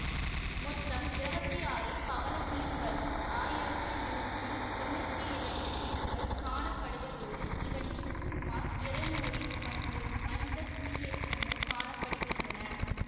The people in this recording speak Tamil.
மொத்தம் இருபத்தி ஆறு பவளத்தீவுகளில் ஆயிரத்தி நூற்றி தொன்னூற்தி இரண்டு தீவுகள் காணப்படுவதோடு இவற்றில் சுமார் இருநூறில் மட்டும் மனித குடியேற்றங்கள் காணப்படுகிறன